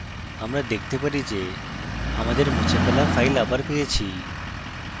আমরা দেখতে পারি যে আমার মুছে ফেলা file আবার পেয়েছি